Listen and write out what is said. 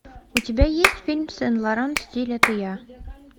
у тебя есть фильм сен лоран стиль это я